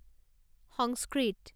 সংস্কৃত